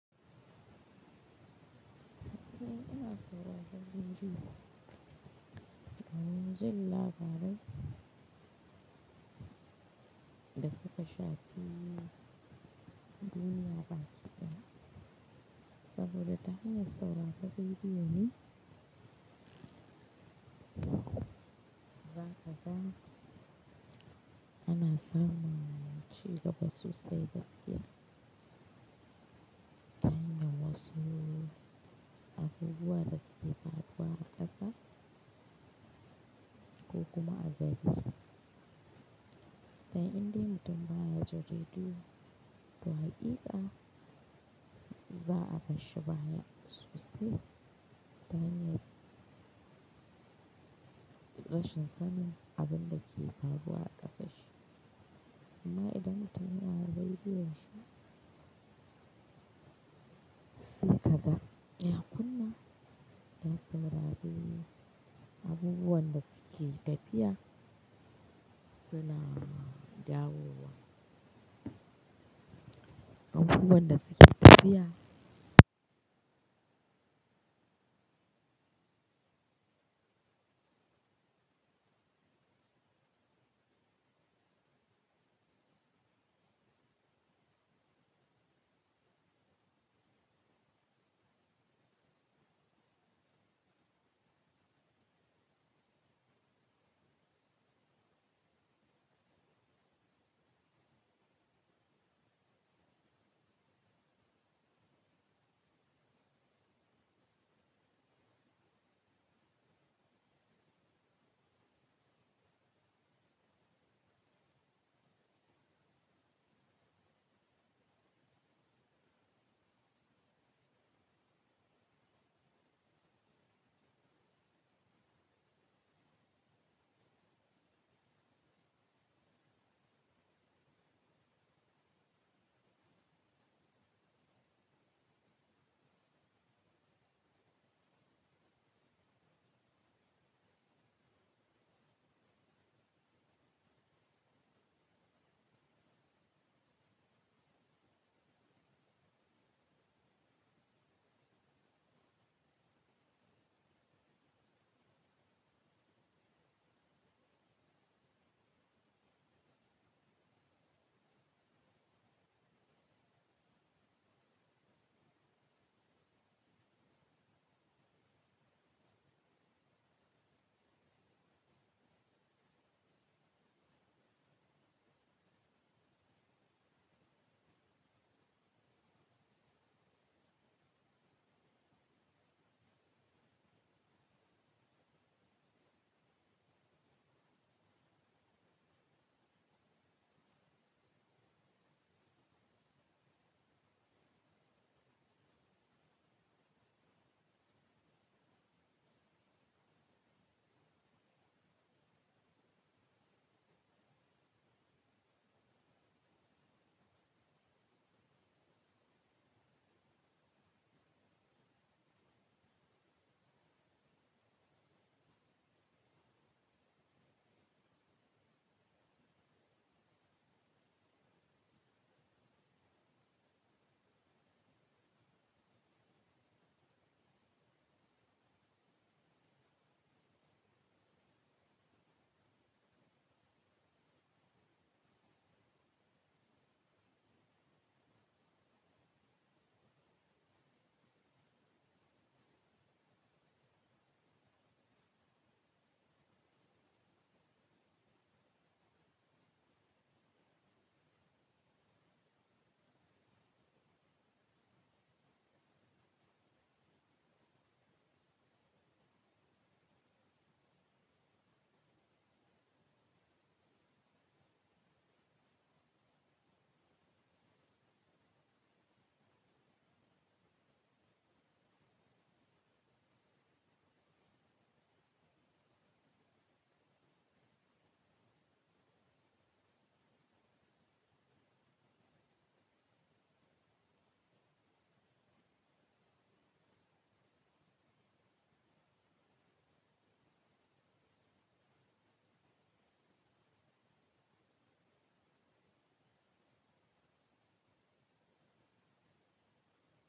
Ina sauraran rediyo, domin jin labarai da suka shafi duniya baki ɗaya. Saboda ta hanyar sauraran rediyo ne, za ka ga, ana samun cigaba sosai gaskiya. Ta hanyar wasu abubuwa da suka faruwa a ƙasa, ko kuma a gari, dan indai mutum ba ya jin rediyo, to haƙiƙa za'a basshi baya sosai, ta hanyar rashin sanin abun da ke faruwa a ƙasanshi. Amma idan mutum yana da rediyon shi, sai ka ga ya kunna, ya saurari abubuwan da suke tafiya, suna dawo wa abubuwan da suke tafiya.